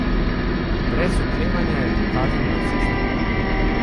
Brez oklevanja je pokazal na cesto.